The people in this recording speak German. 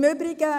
Im Übrigen: